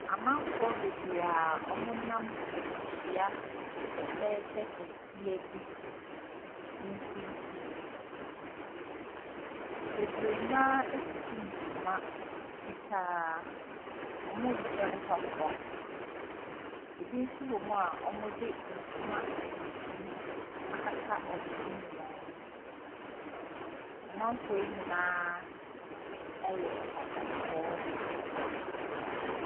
Amamfoɔ bebree a wɔnam afihyia fɛfɛɛfɛ kɛseɛ bi mfimfin. Bebree no ara atutu ntoma fitaa, wɔnhyɛ mpaboa, bi nso wɔ mu a wɔde ntona tuntum akata wɔn ho nyinaa. Amamfoɔ yi nyinaa yɛ akɔkɔɔfo.